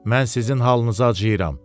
Mən sizin halınıza acıyram.